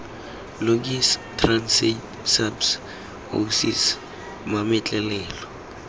logis transaid saps oasis mametlelelo